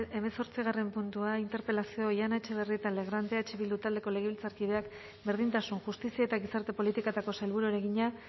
hamazortzigarren puntua interpelazioa oihana etxebarrieta legrand eh bildu taldeko legebiltzarkideak berdintasun justizia eta gizarte politiketako sailburuari egina